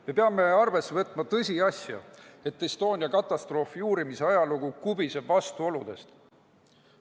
Me peame arvesse võtma tõsiasja, et Estonia katastroofi uurimise ajalugu kubiseb vastuoludest.